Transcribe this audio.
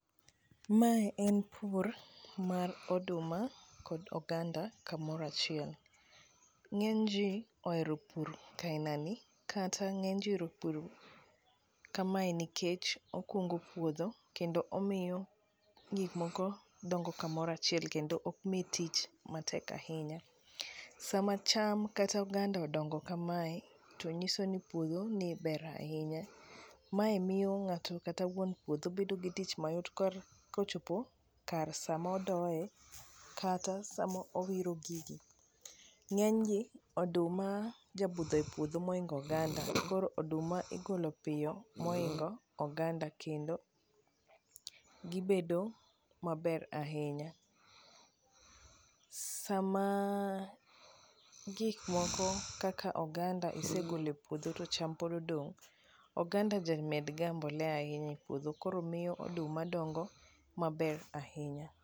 mae en pur mar oduma kog oganda kamora chiel ,ng'eny ji ohero pur ka inani kata ng'eny ji ohero pur kamae nikech okungo puodho kendo omiyo gik moko dongo kamora chiel kendo ok miyi tich matek ahinya. sama cham kata oganda odongo kamae to nyiso ni puodho ni ber ahinya, mae miyo ng'ato kata wuon puodho bedo gi tich mayot kochopo kar sama odoye kata sama owiro gigi, ng'eny gi oduma jabudhe puodho mohingo oganda ,koro oduma igolo piyo mohingo oganda kendo maber ahinya sama gik moko kaka oganda isegole puodho to cham pod odong oganda jamed ga mbolea ahinya e pupdho koro miyo oduma dongo maber ahinya